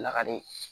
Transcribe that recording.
Lakali